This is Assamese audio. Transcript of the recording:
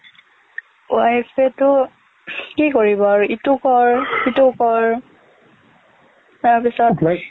wife তো কি কৰিব আৰু ইটো কৰ সিটো কৰ তাৰপিছত